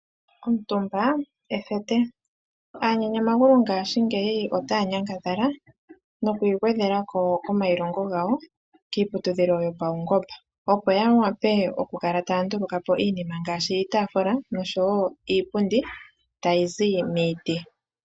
Omutumba ethete, aanyanyamagulu ngaashingeyi otaa nyangadhala nokwii gwedhela ko komailongo gawo kiiputudhilo yopaungomba , opo ya wape okukala taya nduluka po iinima ngaashi iipundi nosho wo iitaafula tayi zi miiti.